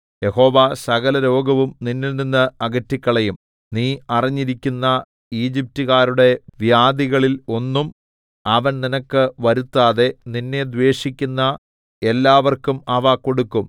യഹോവ സകലരോഗവും നിന്നിൽനിന്ന് അകറ്റിക്കളയും നീ അറിഞ്ഞിരിക്കുന്ന ഈജിപ്റ്റുകാരുടെ വ്യാധികളിൽ ഒന്നും അവൻ നിനക്ക് വരുത്താതെ നിന്നെ ദ്വേഷിക്കുന്ന എല്ലാവർക്കും അവ കൊടുക്കും